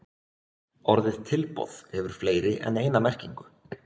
orðið tilboð hefur fleiri en eina merkingu